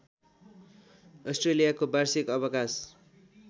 अस्ट्रेलियाको वार्षिक अवकाश